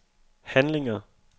handlinger